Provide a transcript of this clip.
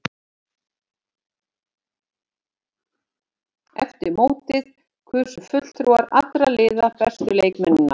Eftir mótið kusu fulltrúar allra liða bestu leikmennina.